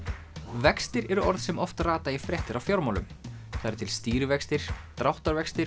vextir eru orð sem oft rata í fréttir af fjármálum það eru til stýrivextir dráttarvextir